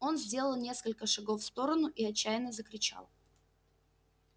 он сделал несколько шагов в сторону и отчаянно закричал